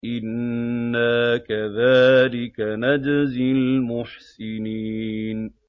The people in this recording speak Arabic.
إِنَّا كَذَٰلِكَ نَجْزِي الْمُحْسِنِينَ